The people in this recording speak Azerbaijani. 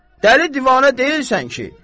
Dəli divanə deyilsən ki?